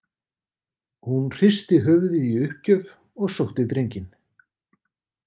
Hún hristi höfuðið í uppgjöf og sótti drenginn.